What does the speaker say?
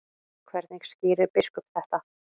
Hvernig skýrir biskup þetta?